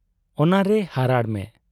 ᱚᱱᱟᱨᱮ ᱦᱟᱨᱟᱲ ᱢᱮ ᱾